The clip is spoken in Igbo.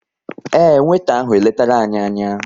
Ee, weeta ahụ eletara anyị anya